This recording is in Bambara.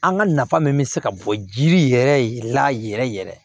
An ka nafa min bɛ se ka bɔ jiri yɛrɛ la yɛrɛ yɛrɛ